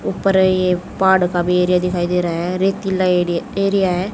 ऊपर ये पहाड़ का भी एरिया दिखाई दे रहा है रेतीला एरिया एरिया है।